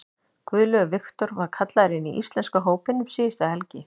Guðlaugur Victor var kallaður inn í íslenska hópinn um síðustu helgi.